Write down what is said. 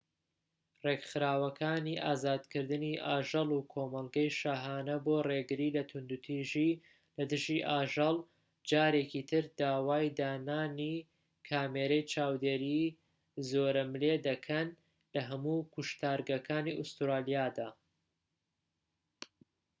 ڕێکخراوەکانی ئازادکردنی ئاژەڵ و کۆمەڵگەی شاهانە بۆ ڕێگریی لە توندوتیژی لە دژی ئاژەڵ جارێکی تر داوای دانانی کامێرەی چاودێری زۆرەملێ دەکەن لە هەموو کوشتارگەکانی ئەستورالیادا